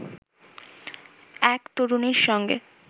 এক তরুণীর সঙ্গে